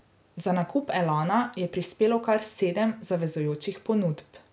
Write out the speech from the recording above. Za nakup Elana je prispelo kar sedem zavezujočih ponudb.